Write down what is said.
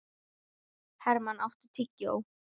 Hermann, áttu tyggjó?